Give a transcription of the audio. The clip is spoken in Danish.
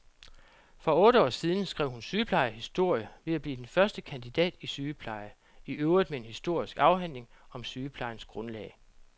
For otte år siden skrev hun sygeplejehistorie ved at blive den første kandidat i sygepleje, iøvrigt med en historisk afhandling om sygeplejens grundlag.